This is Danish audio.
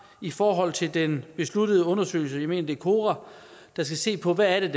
i forhold til den besluttede undersøgelse jeg mener kora der skal se på hvad det